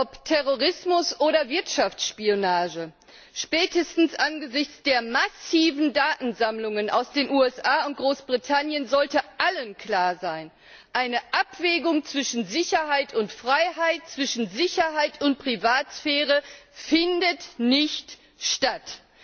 Ob Terrorismus oder Wirtschaftsspionage, spätestens angesichts der massiven Datensammlungen in den USA und Großbritannien sollte allen klar sein, eine Abwägung zwischen Sicherheit und Freiheit, zwischen Sicherheit und Privatsphäre findet nicht statt!